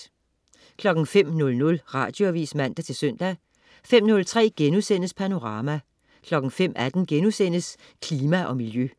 05.00 Radioavis (man-søn) 05.03 Panorama* 05.18 Klima og Miljø*